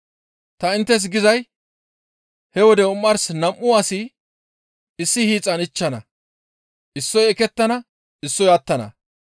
Ta inttes gizay he wode omars nam7u asi issi hiixan ichchana; issoy ekettana; issoy attana.